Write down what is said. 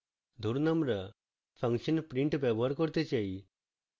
ধরুন আমরা function print ব্যবহার করতে চাই